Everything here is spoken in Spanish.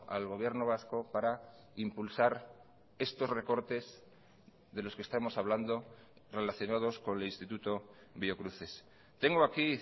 al gobierno vasco para impulsar estos recortes de los que estamos hablando relacionados con el instituto biocruces tengo aquí